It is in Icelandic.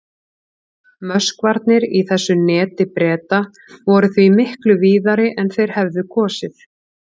Möskvarnir í þessu neti Breta voru því miklu víðari en þeir hefðu kosið.